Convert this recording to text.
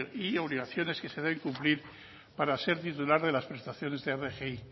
y obligaciones que se deben cumplir para ser titular de las prestaciones rgi